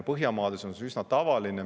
Põhjamaades on see üsna tavaline.